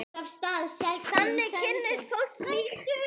Þannig kynnist fólk líka vel.